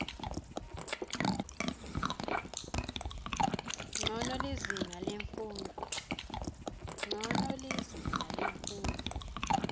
ncono lizinga lemfundvo